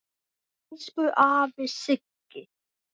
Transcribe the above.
Elsku afi Siggi.